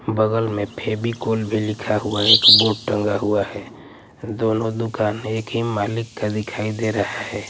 बगल में फेवीकोल भी लिखा हुआ है एक बोर्ड टंगा हुआ है दोनों दुकान एक ही मालिक का दिखाई दे रहा है।